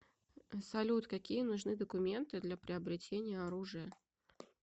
салют какие нужны документы для приобретения оружия